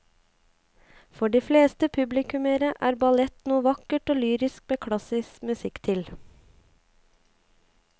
For de fleste publikummere er ballett noe vakkert og lyrisk med klassisk musikk til.